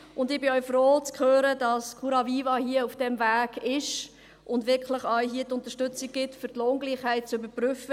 Und ich bin auch froh, zu hören, dass Curaviva hier auf diesem Weg ist und wirklich die Unterstützung gibt, um die Lohngleichheit zu überprüfen.